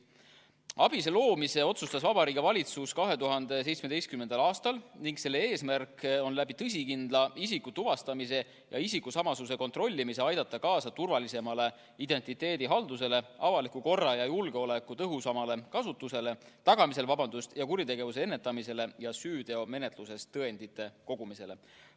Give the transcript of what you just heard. ABIS-e loomise otsustas Vabariigi Valitsus 2017. aastal ning selle eesmärk on tõsikindla isikutuvastamise ja isikusamasuse kontrollimise kaudu aidata kaasa turvalisemale identiteedihaldusele, avaliku korra ja julgeoleku tõhusamale tagamisele ja kuritegevuse ennetamisele ning süüteomenetluses tõendite kogumisele.